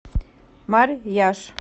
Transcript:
марьяж